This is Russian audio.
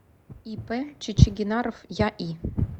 ип чичигинаров яи